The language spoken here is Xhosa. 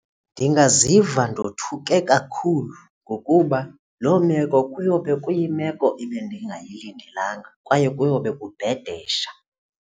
Ndingaziva ndothuke kakhulu ngokuba loo meko kuyobe kuyimeko ebendingayilindelanga kwaye kuyobe kubhedesha.